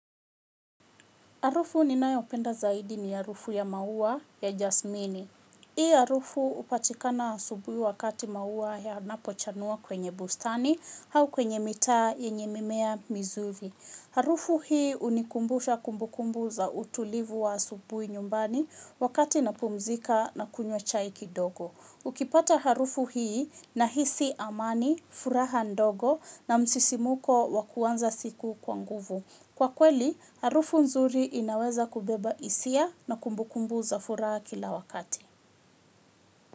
Harufu ninayo penda zaidi ni harufu ya maua ya jasmini. Hii harufu hupatikana asubuhi wakati maua ya napochanua kwenye bustani hau kwenye mitaa yenye mimea mizuri. Harufu hii unikumbusha kumbukumbu za utulivu wa asubuhi nyumbani wakati napumzika na kunywa chai kidogo. Ukipata harufu hii na hisi amani, furaha ndogo na msisimuko wakuanza siku kwanguvu. Kwa kweli, harufu nzuri inaweza kubeba isia na kumbukumbu za furahs kila wakati.